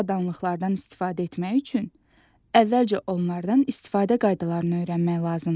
Bu avadanlıqlardan istifadə etmək üçün əvvəlcə onlardan istifadə qaydalarını öyrənmək lazımdır.